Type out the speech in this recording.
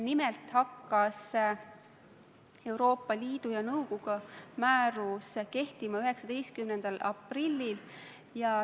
Nimelt hakkas Euroopa Liidu ja nõukogu määrus kehtima 19. aprillil.